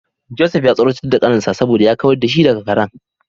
Joseph ya tsoratar da kaninsa saboda ya kawar da shi daga karen.